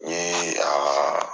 U ye